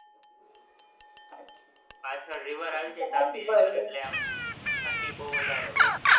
પાછળ river આવી જાય ને, આમ ઠંડી બોવ વધારે હોય છે,